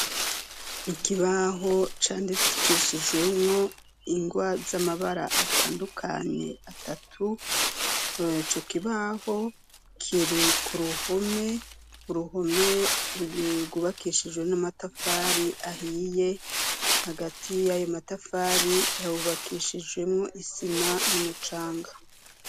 Ikibaho candikishijwemwo ingwa z'amabara atandukanye atatu co kibaho kiri ku ruhome uruhome gubakishijwe n'amatafari ahiye hagati y'ayo matafari hawubakishijwe rimwo isima n'umucanga.